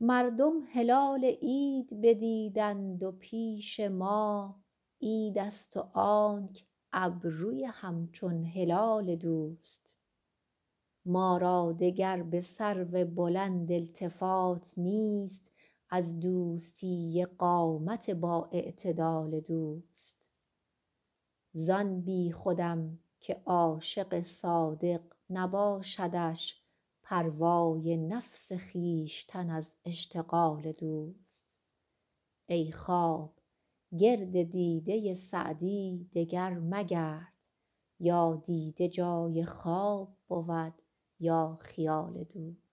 مردم هلال عید ندیدند و پیش ما عیدست و آنک ابروی همچون هلال دوست ما را دگر به سرو بلند التفات نیست از دوستی قامت بااعتدال دوست زان بیخودم که عاشق صادق نباشدش پروای نفس خویشتن از اشتغال دوست ای خواب گرد دیده سعدی دگر مگرد یا دیده جای خواب بود یا خیال دوست